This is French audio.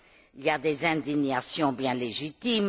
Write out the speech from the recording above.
Il y a des indignations bien légitimes